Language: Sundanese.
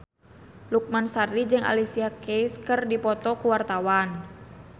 Lukman Sardi jeung Alicia Keys keur dipoto ku wartawan